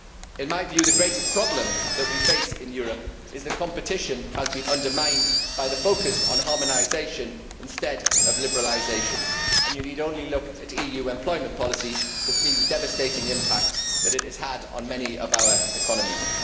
In my view the greatest problem we face in Europe is that competition has been undermined by the focus on harmonisation instead of liberalisation and you need only look at EU employment policy to see the devastating impact that it has had on many of our economies.